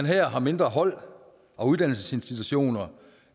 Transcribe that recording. her har mindre hold og uddannelsesinstitutioner